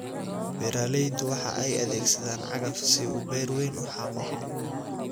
Beeralaydu waxa ay adeegsadaan cagaf si uu beer weyn u xaaqo.